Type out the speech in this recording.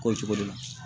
K'o cogo de la